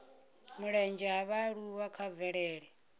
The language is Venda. mulenzhe ha vhaaluwa kha mvelele